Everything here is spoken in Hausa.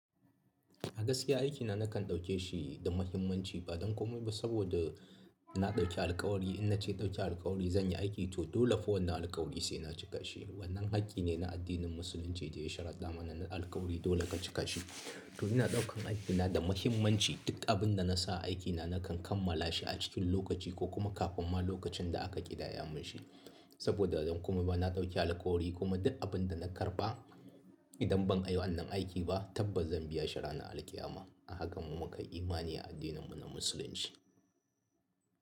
A gaskiya aikina nakan ɗauke shi da muhimmanci ba dan komai ba saboda na ɗauki alƙawari in na ce ɗauki alƙawari zan yi aiki to dole fa wannan alƙawari sai na cika shi. Wannan hakki ne na addinin musulunci da ya sharada mana alƙawari dole ka cika shi. To ina ɗaukan aikina da muhimmanci duk abinda nasa aikina na kan kammalashi a cikin lokaci ko kuma kafin ma lokacin da aka ƙidayamin shi saboda don kuma ba na ɗauki alƙawari kuma duk abin da na karɓa idan ban ai wannan aiki ba tabbas zan biya shi ranan alƙiyama. A haka mu muka yi imani a addininmu na musulunci.